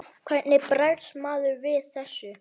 Hvernig bregst maður við þessu?